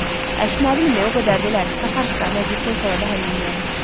Əş nə bilim o qədərdilər ki, taparıq da, məclisdən sonra da həll eləyərik.